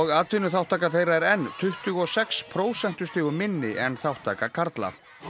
atvinnuþátttaka þeirra er enn tuttugu og sex prósentustigum minni en þátttaka karla